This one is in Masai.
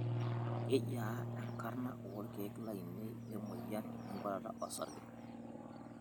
Kejiaa enkarna olkeek lainei lemoyian enkuatata osarge?